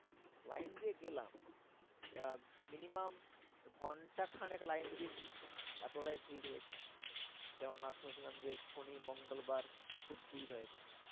Line দিয়ে গেলাম। আহ minimum ঘন্টা খানেক লাইন দিয়েছিলাম। এতটাই ভিড় হয়েছে। কেন না শুনেছিলাম যে শনি মঙ্গলবার খুব ভিড় হয় ওখানে।